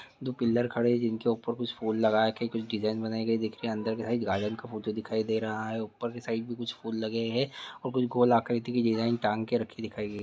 दो पिलर खड़े हैं जिनके उपर कुछ फूल लगाके कुछ डिजाइन बनाए गए दिख रहे हैं अंदर का हैं गार्डन का फोटो दिखाई दे रहा हैं उपर साइड में कुछ फूल लगे हैं और कुछ गोल आकृती की डिजाईन टांग के रखी हुई हैं।